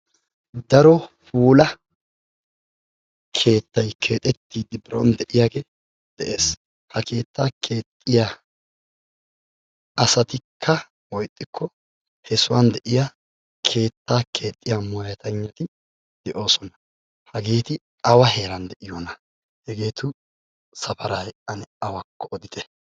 Daro puulaa keettay keexxettidi biron de'iyage de'ees. Ha keetta keexxiya asatikka woyixxikko he sohuwan de'iya keetta keexiya moyateygnati de'osona. Hageeti awa heeran de'iyona? Hageetu safaray ane awakko odite?